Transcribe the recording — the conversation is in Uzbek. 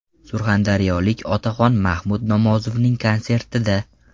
Surxondaryolik otaxon Mahmud Nomozovning konsertida.